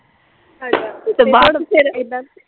ਤੇ ਬਾਹਰ ਵੀ ਫੇਰ ਏਦਾਂ